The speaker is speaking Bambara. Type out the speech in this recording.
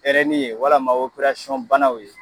Pɛrɛni ye walima banaw ye.